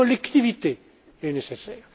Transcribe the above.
Chaque collectivité est nécessaire.